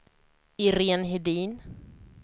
Iréne Hedin